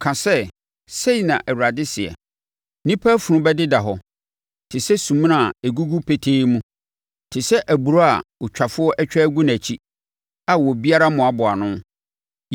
Ka sɛ, “Sei na Awurade seɛ, “ ‘Nnipa afunu bɛdeda hɔ te sɛ sumina a ɛgugu petee mu, te sɛ aburoo a otwafoɔ atwa agu nʼakyi a obiara mmoaboaa ano.’ ”